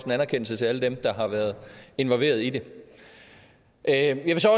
en anerkendelse til alle dem der har været involveret i det jeg vil så